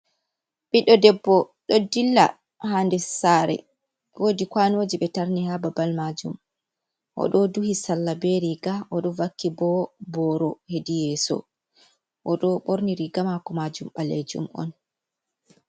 Ɓiɗɗo debbo ɗo dilla ha der sare wodi kwanoji ɓe tarni ha babal majum, o ɗo duhi sallah be riga o ɗo vakki bo boro hedi yeso, o ɗo ɓorni riga mako majum balejum on.